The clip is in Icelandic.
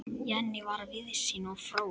Jenný var víðsýn og fróð.